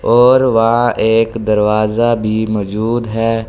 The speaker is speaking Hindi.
और वहाँ एक दरवाजा भी मजूद है।